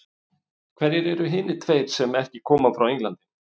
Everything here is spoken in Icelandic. Hverjir eru hinir tveir sem ekki koma frá Englandi?